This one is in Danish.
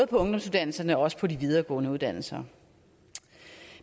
ungdomsuddannelserne og også de videregående uddannelser